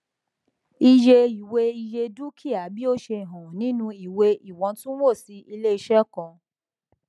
iye ìwé iye dúkìá bí ó ṣe hàn nínú ìwé ìwọntunwọnsí iléiṣẹ kan